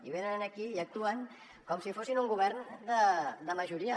i venen aquí i actuen com si fossin un govern de majoria